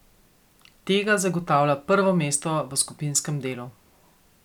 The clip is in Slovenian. Tega zagotavlja prvo mesto v skupinskem delu.